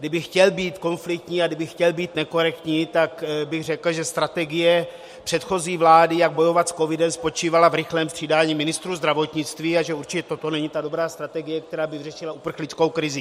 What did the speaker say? Kdybych chtěl být konfliktní a kdybych chtěl být nekorektní, tak bych řekl, že strategie předchozí vlády, jak bojovat s covidem, spočívala v rychlém střídání ministrů zdravotnictví a že určitě toto není ta dobrá strategie, která by vyřešila uprchlickou krizi.